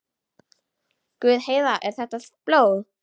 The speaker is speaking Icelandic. Guð, Heiða, er þetta blóð?